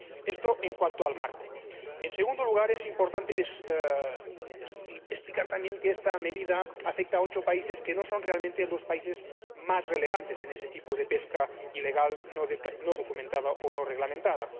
Esto, en cuanto al marco. En segundo lugar, es importante explicar también que esta medida afecta a ocho países que no son realmente los países más relevantes en ese tipo de pesca ilegal, no declarada o no reglamentada.